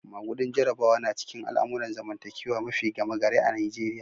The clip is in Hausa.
Magudin Jarabawa na cikin al'amuran zamantakewa mafi gama gari a'Nijeriya.